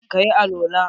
ka yi alwala?